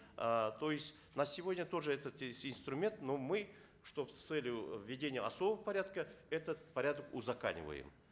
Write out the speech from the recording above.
э то есть на сегодня тоже этот есть инструмент но мы чтобы с целью введения особого порядка этот порядок узакониваем